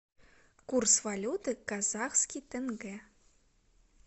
курс валюты казахский тенге